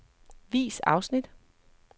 Vis afsnit.